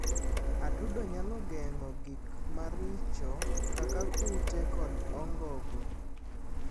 Atudo nyalo geng'o gik maricho kaka kute kod ongogo.